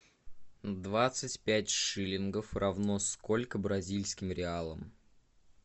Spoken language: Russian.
двадцать пять шиллингов равно сколько бразильским реалам